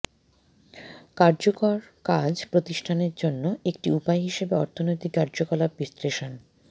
কার্যকর কাজ প্রতিষ্ঠানের জন্য একটি উপায় হিসেবে অর্থনৈতিক কার্যকলাপ বিশ্লেষণ